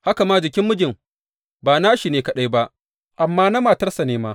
Haka ma jikin mijin, ba na shi ne kaɗai ba, amma na matarsa ne ma.